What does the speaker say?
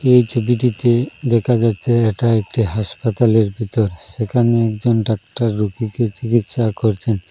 এই ছবিটিতে দেখা যাচ্ছে এটা একটি হাসপাতালের ভিতর সেখানে একজন ডাক্তার রুগীকে চিকিৎসা করছেন।